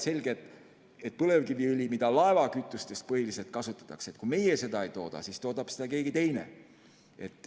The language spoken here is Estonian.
Selge, et kui meie ei tooda põlevkiviõli, mida põhiliselt kasutatakse laevakütuses, siis toodab seda keegi teine.